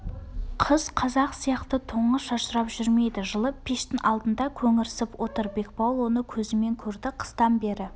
қыс қазақ сияқты тоңып-шашырап жүрмейді жылы пештің алдында көңірсіп отыр бекбауыл оны көзімен көрді қыстан бері